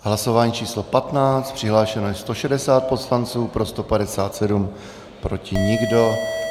Hlasování číslo 15, přihlášeno je 160 poslanců, pro 157, proti nikdo.